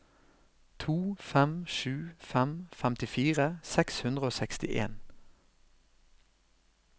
to fem sju fem femtifire seks hundre og sekstien